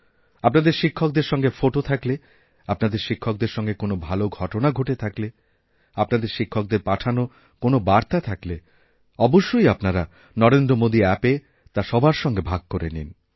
আপনাদের শিক্ষকদের সঙ্গে ফটো থাকলে আপনাদের শিক্ষকদের সঙ্গেকোনও ভাল ঘটনা ঘটে থাকলে আপনাদের শিক্ষকদের পাঠানো কোনও বার্তা থাকলে অবশ্যইআপনারা নরেন্দ্র মোদী অ্যাপএ তা সবার সঙ্গে ভাগ করে নিন